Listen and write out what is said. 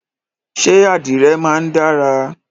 Ṣẹ́ àdìrẹ máa ń dára?